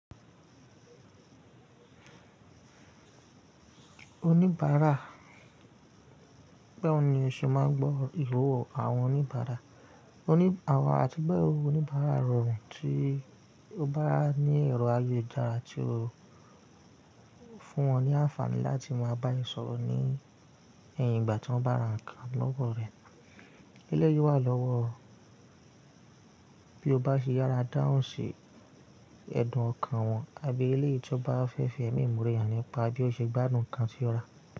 Oníbàárà. Bawo ni o ṣe máa n gbọ́ ìro àwọn oníbàárà. Àti gboro oníbàárà rọrùn tí o bá ní èrò ayélujara tí ó fún wọn ní àǹfààní láti máa bá yín sọ̀rọ̀ ní ẹ̀yìn ìgbà tọ́n bá ra nǹkan lọ́wọ́ rẹ. Elẹ́yìi wà lọ́wọ́ bí o bá ṣe yára dáhùn sí ẹ̀dùn ọkàn wọn àbí eleyii ti o bá fẹ́ fi ẹ̀mí imọ́re hàn nípa bí o ṣe gbádùn nǹkan tí o rà.